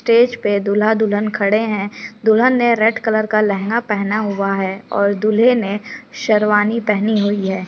Stage पे दूहला- दुल्हन खड़े है दुल्हन ने रेड कलर का लहंगा पहना हुआ है और दूल्हे ने शेरवानी पहनी हैं ।